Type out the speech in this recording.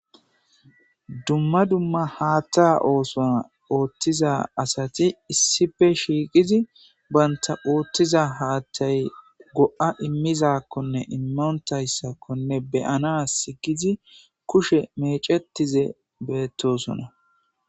Dumma dumma haatha oothuwa ooththiza asati isippe shiqidi banta haaththa go"a imizayissa be"anass kushe mecetishshe betosona